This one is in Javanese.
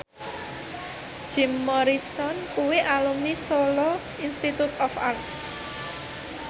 Jim Morrison kuwi alumni Solo Institute of Art